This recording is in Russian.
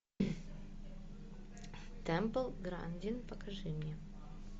тэмпл грандин покажи мне